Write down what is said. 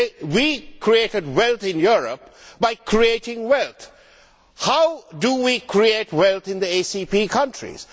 We created wealth in Europe by creating wealth. How do we create wealth in the ACP countries?